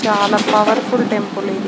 చాలా powerful temple ఇది.